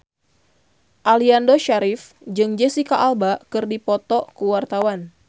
Aliando Syarif jeung Jesicca Alba keur dipoto ku wartawan